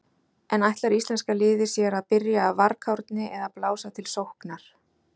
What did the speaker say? En ætlar íslenska liðið sér að byrja af varkárni eða blása til sóknar?